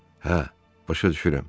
Hə, başa düşürəm.